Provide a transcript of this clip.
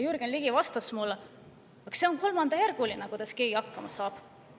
Jürgen Ligi vastas mulle, et see on kolmandajärguline, kuidas keegi hakkama saab.